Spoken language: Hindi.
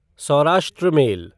सौराष्ट्र मेल